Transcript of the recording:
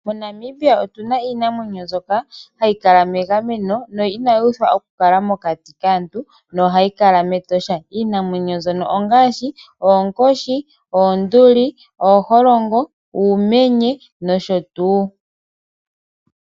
MoNamibia otu na iinamwenyo mbyoka hayi kala megameno no inayi uthwa oku kala mokati kaantu, no hayi kala metosha. Iinamwenyo mbyono ongaashi: oonkoshi, oonduli, ooholongo, uumenye noshotuu.